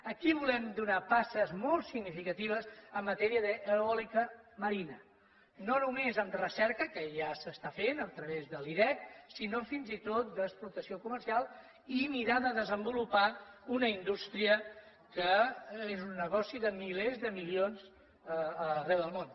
aquí volem donar passes molt significatives en matèria d’eòlica marina no només en recerca que ja s’està fent a través de l’irec sinó fins i tot d’explotació comercial i mirar de desenvolupar una indústria que és un negoci de milers de milions arreu del món